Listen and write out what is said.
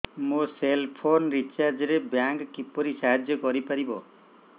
ମୋ cell phone recharge ରେ bank କିପରି ସାହାଯ୍ୟ କରିପାରିବ